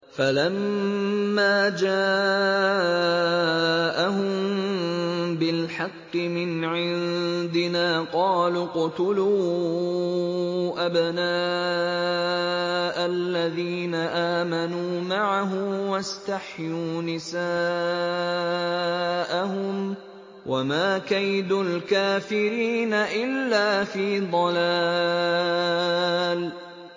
فَلَمَّا جَاءَهُم بِالْحَقِّ مِنْ عِندِنَا قَالُوا اقْتُلُوا أَبْنَاءَ الَّذِينَ آمَنُوا مَعَهُ وَاسْتَحْيُوا نِسَاءَهُمْ ۚ وَمَا كَيْدُ الْكَافِرِينَ إِلَّا فِي ضَلَالٍ